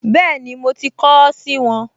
Bẹ́ẹ̀ni, mo ti kọ ọ́ sì wọn